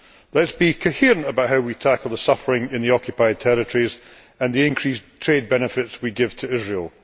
Let us be coherent about how we tackle the suffering in the Occupied Territories and the increased trade benefits we give to Israel.